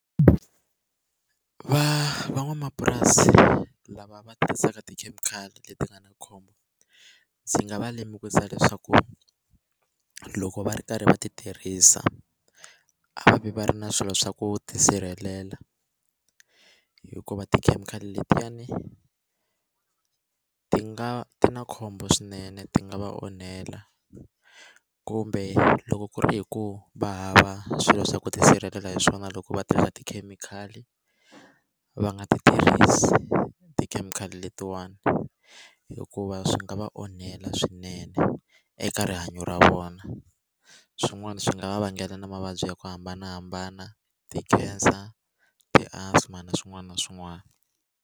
Va van'wamapurasi lava va tirhisaka ti chemical leti nga na khombo ndzi nga va lemukisa leswaku loko va ri karhi va ti tirhisa a va vi va ri na swilo swa ku tisirhelela hikuva tikhemikhali letiyani ti nga ti na khombo swinene ti nga va onhela kumbe loko ku ri hi ku va hava swilo swa ku tisirhelela hi swona loko va tirhisa tikhemikhali va nga ti tirhisi tikhemikhali letiwani hikuva swi nga va onhela swinene eka rihanyo ra vona swin'wana swi nga va vangela na mavabyi ya ku hambanahambana ti-cancer, ti-asthma na swin'wana na swin'wana.